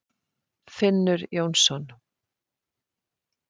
Finnur Jónsson.